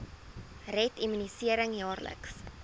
red immunisering jaarliks